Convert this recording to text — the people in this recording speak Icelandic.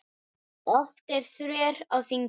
Oft er þref á þingi.